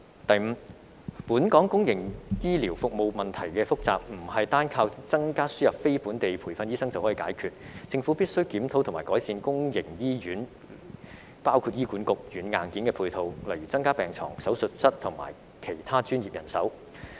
第五，本港公營醫療服務問題複雜，不是單靠增加輸入非本地培訓醫生就可以解決，政府必須檢討及改善公營醫院的軟硬件配套，例如增加病床、手術室及其他專業人手。